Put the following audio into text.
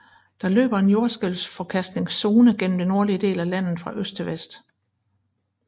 Der løber en jordskælvsforkastningszone gennem det nordlige af landet fra øst til vest